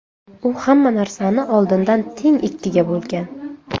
U hamma narsani oldindan teng ikkiga bo‘lgan.